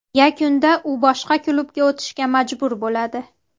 Yakunda u boshqa klubga o‘tishga majbur bo‘ladi.